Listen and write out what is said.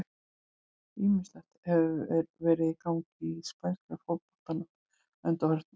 Ýmislegt hefur verið í gangi í spænska boltanum að undanförnu.